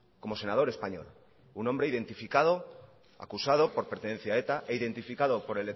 como senador español un hombre identificado acusado por pertenencia a eta e identificado por